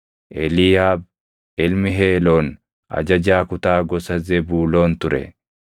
Eliiyaab ilmi Heeloon ajajaa kutaa gosa Zebuuloon ture.